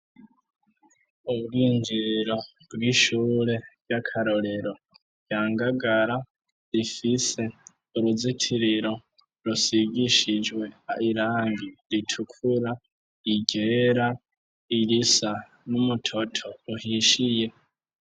Ubwinjiriro bw'ishure ry'akarorero rya Ngagara rifise uruzitiriro rusigishijwe irangi ritukura, iryera, irisa n'umutoto uhishiye.